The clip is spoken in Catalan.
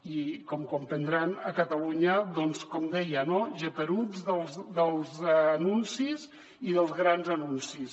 i com deuen comprendre a catalunya com deia no geperuts dels anuncis i dels grans anuncis